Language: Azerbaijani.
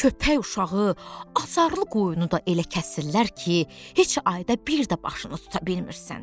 Köpək uşağı azarlı qoyunu da elə kəsirlər ki, heç ayda bir də başını tuta bilmirsən.